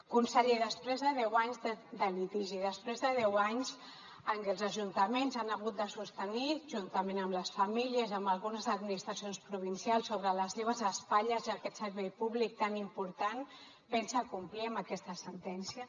conseller després de deu anys de litigi després de deu anys en què els ajuntaments han hagut de sostenir juntament amb les famílies i amb algunes administracions provincials sobre les seves espatlles aquest servei públic tan important pensa complir amb aquesta sentència